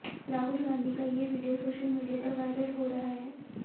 राहुल गांधी का ये video social media पर वायरल हो रहा है